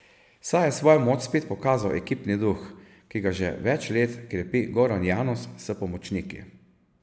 Saj je svojo moč spet pokazal ekipni duh, ki ga že več let krepi Goran Janus s pomočniki.